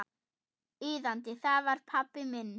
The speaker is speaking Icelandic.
Iðandi, það var pabbi minn.